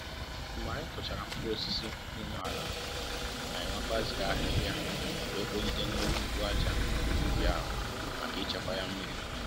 mgbe anyị kụchara mkpụrụ osisi n'ime ala, anyị wekwa ziri ahịhịa wee kpogide n'elu mkpu ájá ubi ahu maka ichekwa ya mmiri